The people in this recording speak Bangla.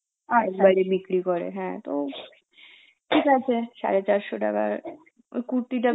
বাইরে বিক্রি করে হ্যাঁ তো ঠিক আছে সাড়ে চারশো টাকার ওই কুর্তিটা বেশ